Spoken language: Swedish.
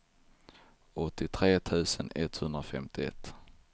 åttiotre tusen etthundrafemtioett